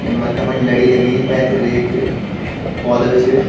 य मथा पर लड़ी लगीं पैथर एक पौधा भी च।